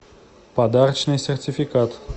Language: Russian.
подарочный сертификат